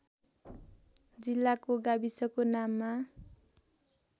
जिल्लाको गाविसको नाममा